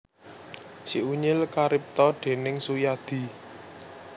Si Unyil karipta déning Suyadi